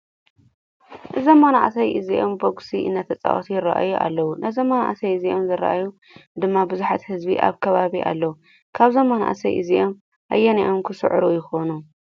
እዞም መናእሰይ እዚኦም ቦጉሲ እነዳተፃወቱ ይረአዩ ኣለዎ። ነዞም መናእሰይ እዞም ዝርእይ ድማ ቡዙሕ ህዝቢ ኣብ ከባቢ ኣሎ። ካብዞም መናእሰይ እዚኦም ኣየነኦም ክስዕሩ ይኮኑ?